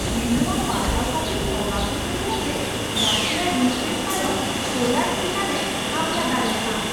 ᱤᱧ ᱱᱚᱶᱟ ᱯᱟᱲᱦᱟᱣ ᱠᱟᱛᱮᱧ ᱚᱵᱟᱠ ᱩᱛᱟᱹᱨᱮᱱᱟ ᱡᱮ ᱨᱟᱥᱤᱭᱟ ᱤᱭᱩᱠᱨᱮᱱ ᱛᱟᱭᱚᱢ ᱯᱳᱞᱮᱹᱱᱰ ᱪᱮᱛᱟᱱᱮ ᱦᱟᱢᱞᱟ ᱫᱟᱲᱮᱭᱟᱜᱼᱟ ᱾